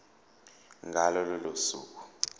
ngalo lolo suku